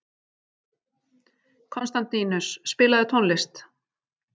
Konstantínus, spilaðu tónlist.